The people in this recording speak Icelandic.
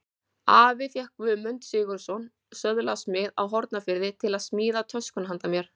Afi fékk Guðmund Sigurðsson, söðlasmið á Hornafirði, til að smíða töskuna handa mér.